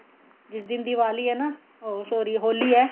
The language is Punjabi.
ਜਿਸ ਦਿਨ ਦਿਵਾਲੀ ਏ ਨਾ ਉਹ sorry ਹੋਲੀ ਏ